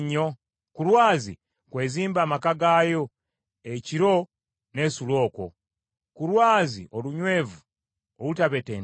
Ku lwazi kw’ezimba amaka gaayo ekiro n’esula okwo, ku lwazi olunywevu olutabetentebwa.